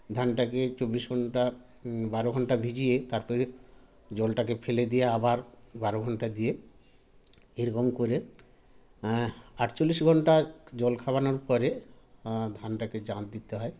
ধানটাকে চব্বিশ ঘন্টা হুম বারো ঘন্টা ভিজিয়ে তারপরে জলটাকে ফেলে দিয়ে আবার বারো ঘন্টা দিয়ে এরকম করে আ আটচল্লিশ ঘন্টা জল খাওয়ানোর পরে আ ধানটাকে জ্বাল দিতে হয়